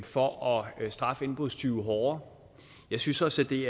for at straffe indbrudstyve hårdere jeg synes også at det